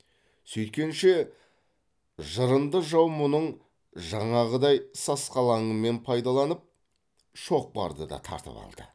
сүйткенше жырынды жау мұның жаңағыдай сасқалаңымен пайдаланып шоқпарды да тартып алды